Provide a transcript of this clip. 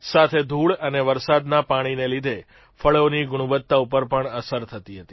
સાથે ધૂળ અને વરસાદના પાણીને લીધે ફળોની ગુણવત્તા ઉપર પણ અસર થતી હતી